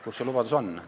Kus see lubadus on?